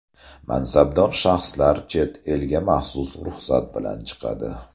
Mansabdor shaxslar chet elga maxsus ruxsat bilan chiqadi.